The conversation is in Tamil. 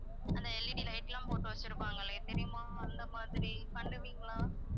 அந்த LED light எல்லாம் போட்டு வச்சுருப்பாங்களே தெரியுமா அந்த மாதிரி பண்ணுவீங்களா